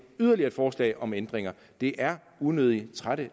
yderligere et forslag om ændringer det er unødig trættende